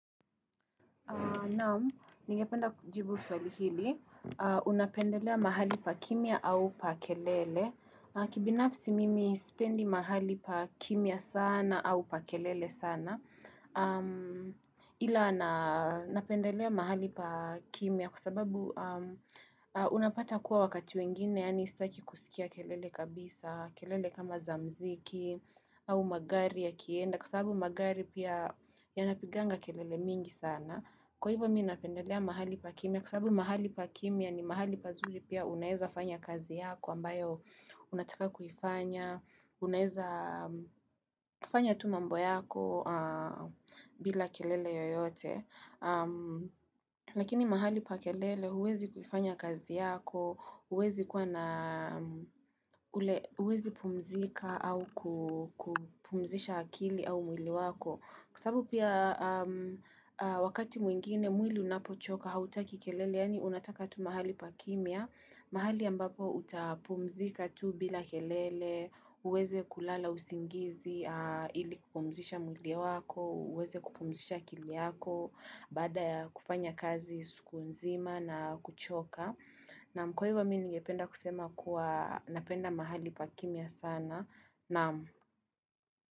Naam, ningependa kujibu swali hili. Unapendelea mahali pa kimya au pa kelele. Kibinafsi mimi sipendi mahali pa kimya sana au pa kelele sana. Ila napendelea mahali pa kimya kwa sababu unapata kuwa wakati wengine yaani sitaki kusikia kelele kabisa, kelele kama za mziki au magari yakienda kwa sababu magari pia yanapiganga kelele mingi sana. Kwa hivyo mi napendelea mahali pa kimya, kwa sababu mahali pa kimya ni mahali pazuri pia unaeza fanya kazi yako ambayo unataka kufanya, unaeza fanya tu mambo yako bila kelele yoyote. Lakini mahali pa kelele huwezi kufanya kazi yako, huwezi kuwa na huwezi pumzika au kupumzisha akili au mwili wako. Kwa sababu pia wakati mwingine mwili unapochoka hautaki kelele, yaani unataka tu mahali pa kimya, mahali ambapo utapumzika tu bila kelele, uweze kulala usingizi, ili kupumzisha mwili wako, uweze kupumzisha akili yako, baada kufanya kazi siku nzima na kuchoka. Naam kwa hivo mi nigependa kusema kuwa napenda mahali pa kimya sana.